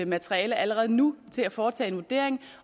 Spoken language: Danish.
materiale allerede nu til at foretage en vurdering